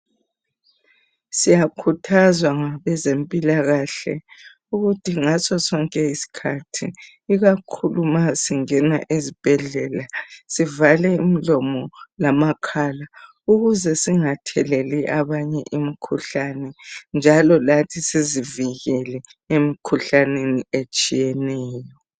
Siyakhuthazwa ngabezempilakahle ukuthi ngaso sonke iskhathi (ikakhulu ma singena ezibhedlela), sivale imlomo lamakhala ukuze singatheleli abanye imkhuhlane njalo lathi sizivikele emkhuhlaneni etshiyeneyo.